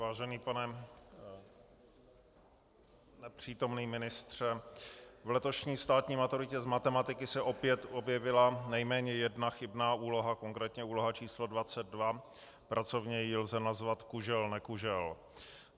Vážený pane nepřítomný ministře, v letošní státní maturitě z matematiky se opět objevila nejméně jedna chybná úloha, konkrétně úloha číslo 22, pracovně ji lze nazvat kužel-nekužel.